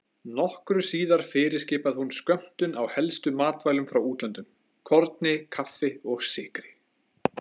Nokkru síðar fyrirskipaði hún skömmtun á helstu matvælum frá útlöndum: korni, kaffi og sykri.